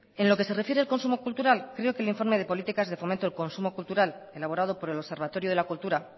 en lo que se refiere al consumo cultural creo que el informe de políticas de fomento del consumo cultural elaborado por el observatorio de la cultura